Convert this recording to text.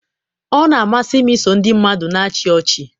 ọ na-amasị m iso ndị mmadụ na-achị ọchị.